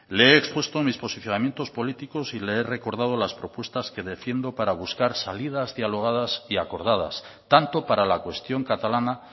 le he expuesto mis posicionamientos políticos y le he recordado las propuestas que defiendo para buscar salidas dialogadas y acordadas tanto para la cuestión catalana